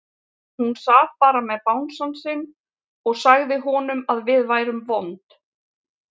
Hún sat bara með bangsann sinn og sagði honum að við værum vond.